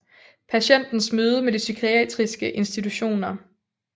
Patientens møde med de psykiatriske institutioner